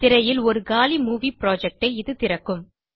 திரையில் உரு காலி மூவி புரொஜெக்ட் ஐ இது திறக்கும்